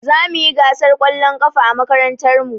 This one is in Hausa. Zamuyi gasar ƙwallon ƙafa a makarantar mu